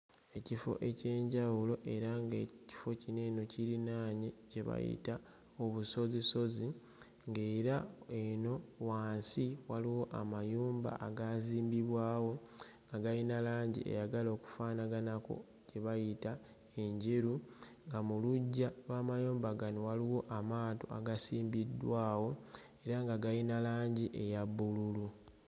Ekifo eky'enjawulo era ng'ekifo kino eno kirinaanye kye bayita obusozisozi ng'era eno wansi waliwo amayumba agaazimbibwawo agayina langi eyagala okufaanaganako gye bayita enjeru nga mu luggya lw'amayumba gano waliwo amaato agasimbiddwawo era nga gayina langi eya bbululu.